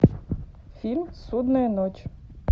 фильм судная ночь